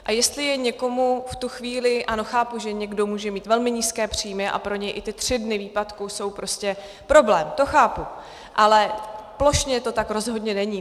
A jestli je někomu v tu chvíli - ano, chápu, že někdo může mít velmi nízké příjmy a pro něj i ty tři dny výpadku jsou prostě problém, to chápu, ale plošně to tak rozhodně není.